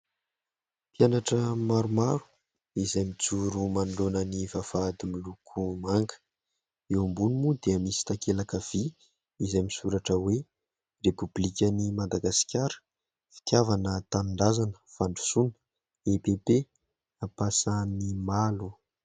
Mpianatra maromaro izay mijoro manoloana ny vavahady miloko manga. Eo ambony moa dia misy takelaka vy izay misoratra hoe : "Repoblikan'i Madagasikara, Fitiavana-Tanindrazana-Fandrosoana, EPP Ampasanimalo".